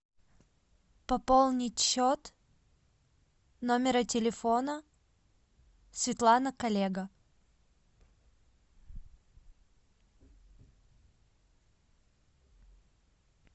пополнить счет номера телефона светлана коллега